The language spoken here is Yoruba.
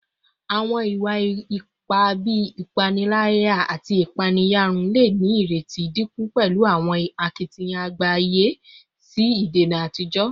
Awọn iwa-ipa bii ipanilaya ati ipaeyarun le ni ireti dinku pẹlu awọn akitiyan agbaye si idena ati idajọ